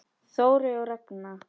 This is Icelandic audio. Þórey og Ragna.